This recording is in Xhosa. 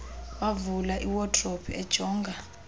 wavula iwadrobe ejonga